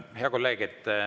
Hea kolleeg!